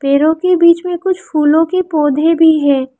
पेड़ों के बीच में कुछ फूलों के पौधे भी है।